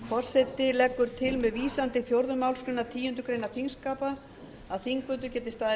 forseti leggur til með vísun til fjórðu málsgreinar tíundu greinar þingskapa að þingfundur geti staðið